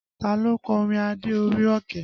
Ta ló kọ orin Adé orí Ọ̀kín?